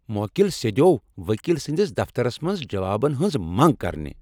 موکِل سِیدیوو وکیل سٕندِس دفترس منٛز جوابن ہٕنز منگ کرنِہ ۔